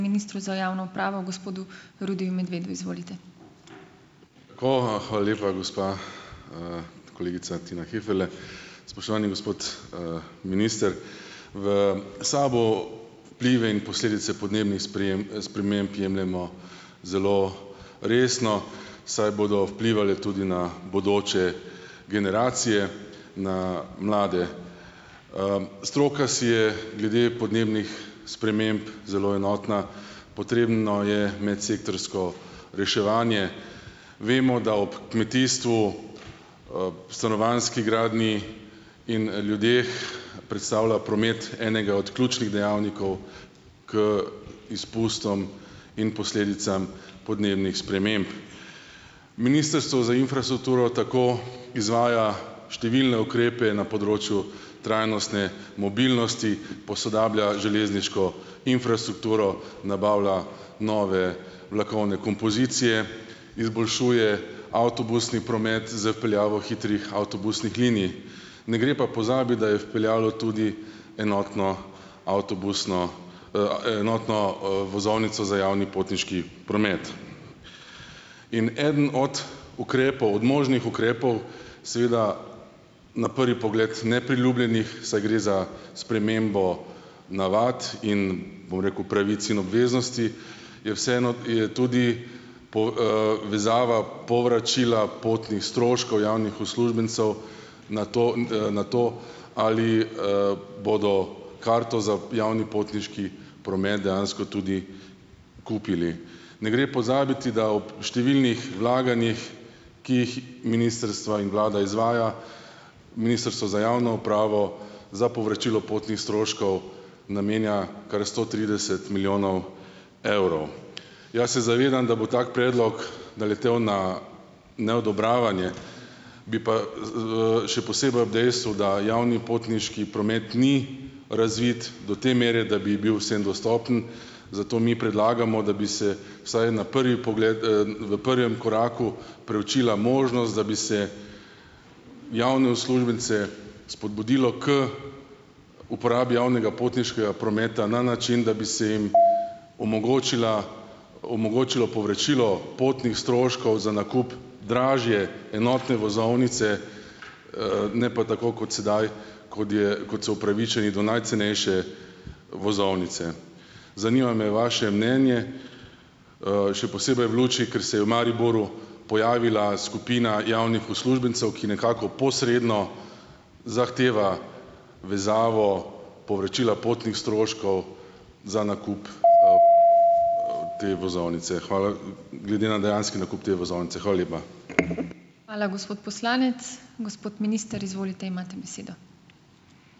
Ministru za javno upravo gospodu Rudiju Medvedu, izvolite. hvala lepa, gospa, kolegica Tina Heferle. Spoštovani gospod, minister. V SAB-u vplive in posledice podnebnih sprememb jemljemo zelo resno, saj bodo vplivale tudi na bodoče generacije, na mlade, stroka si je glede podnebnih sprememb zelo enotna, potrebno je imeti sektorsko reševanje, vemo, da ob kmetijstvu, stanovanjski gradnji in, ljudeh predstavlja promet enega od ključnih dejavnikov k izpustom in posledicam podnebnih sprememb. Ministrstvo za infrastrukturo tako izvaja številne ukrepe na področju trajnostne mobilnosti, posodablja železniško infrastrukturo nabavlja nove vlakovne kompozicije, izboljšuje avtobusni promet z vpeljavo hitrih avtobusnih linij, ne gre pa pozabiti, da je vpeljalo tudi enotno avtobusno, enotno, vozovnico za javni potniški promet in eden od ukrepov od možnih ukrepov, seveda na prvi pogled nepriljubljenih, saj gre za spremembo navad in, bom rekel, pravic in obveznosti je vseeno je tudi po, vezava povračila potnih stroškov javnih uslužbencev na to, na to, ali, bodo karto za javni potniški promet dejansko tudi kupili. Ne gre pozabiti, da ob številnih vlaganjih, ki jih ministrstva in vlada izvaja, ministrstvo za javno upravo za povračilo potnih stroškov namenja kar sto trideset milijonov evrov. Jaz se zavedam, da bo tak predlog naletel na neodobravanje, bi pa, še posebej ob dejstvu, da javni potniški promet ni razvit do te mere, da bi bil vsem dostopen, zato mi predlagamo, da bi se vsaj na prvi pogled, v prvem koraku preučila možnost, da bi se javne uslužbence spodbudilo k uporabi javnega potniškega prometa na način, da bi se jim omogočila omogočilo povračilo potnih stroškov za nakup dražje enotne vozovnice, ne pa tako kot sedaj, kot je kot so upravičeni do najcenejše vozovnice. Zanima me vaše mnenje, še posebej v luči, ker se je v Mariboru pojavila skupina javnih uslužbencev, ki nekako posredno zahteva vezavo povračila potnih stroškov za nakup, te vozovnice, hvala. Glede na dejanski nakup te vozovnice, hvala lepa. Hvala, gospod poslanec, gospod minister, izvolite, imate besedo.